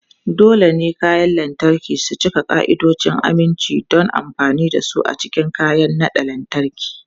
Dole ne kayan lantarki su cika ka'idojin aminci don amfani da su a cikin kayan naɗa lantarki.